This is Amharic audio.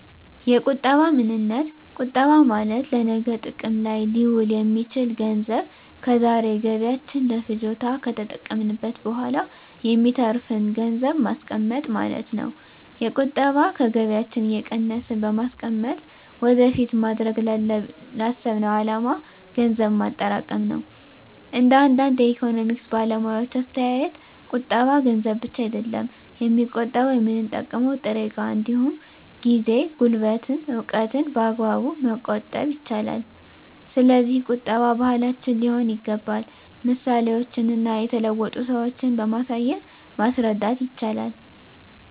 የቁጠባ ምንነት ቁጠባ ማለት ለነገ ጥቅም ላይ ሊውል የሚችል ገንዘብ ከዛሬ ገቢያችን ለፍጆታ ከተጠቀምንት በኋላ የሚተርፍን ገንዘብን ማስቀመጥ ማለት ነው። የቁጠባ ከገቢያችን እየቀነስን በማስቀመጥ ወደፊት ማድረግ ላሰብነው አላማ ገንዘብ ማጠራቀም ነው። እንደ አንዳንድ የኢኮኖሚክስ ባለሙያዎች አስተያየት ቁጠባ ገንዘብ ብቻ አይደለም የሚቆጠበው የምንጠቀመው ጥሬ እቃ እንዲሁም ጊዜ፣ ጉልበትን፣ እውቀትን በአግባቡ መቆጠብ ይቻላል። ስለዚህ ቁጠባ ባህላችን ሊሆን ይገባል ምሳሌዎችን እና የተለወጡ ሰዎችን በማሳየት ማስረዳት ይቻላል